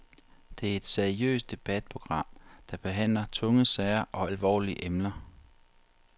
Det er et seriøst debatprogram, der behandler tunge sager og alvorlige emner.